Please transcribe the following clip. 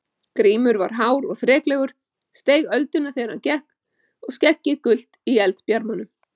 Grímur var hár og þreklegur, steig ölduna þegar hann gekk og skeggið gult í eldbjarmanum.